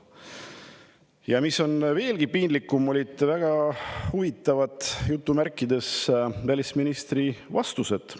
Ja mis on veelgi piinlikum: välisministril olid mõnele küsimusele väga "huvitavad" vastused.